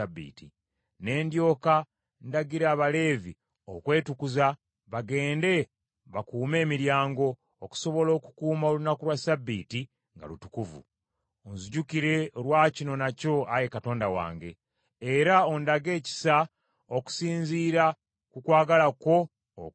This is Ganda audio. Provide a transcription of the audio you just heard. Ne ndyoka ndagira Abaleevi okwetukuza bagende bakuume emiryango, okusobola okukuuma olunaku lwa Ssabbiiti nga lutukuvu. Onzijukire olwa kino nakyo Ayi Katonda wange, era ondage ekisa okusinziira ku kwagala kwo okungi.